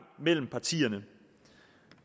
mellem partierne